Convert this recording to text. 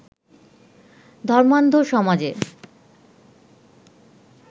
ধর্মান্ধ সমাজে